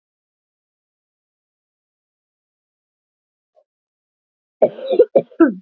Lillý Valgerður: Allt á floti?